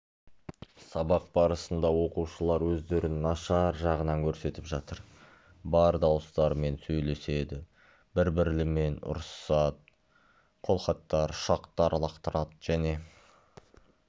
сабақ барысында оқушылар өздерін нашар жағынан көрсетіп жатыр бар дауыстарымен сөйлеседі бір-бірлерімен ұрысысады қолхаттар ұшақтар лақтырады және